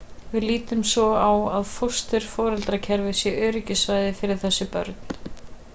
við lítum svo á að fósturforeldrakerfið sé öryggissvæði fyrir þessi börn